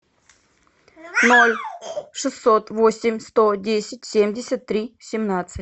ноль шестьсот восемь сто десять семьдесят три семнадцать